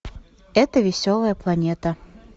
эта веселая планета